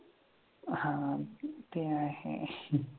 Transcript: हां ते आहे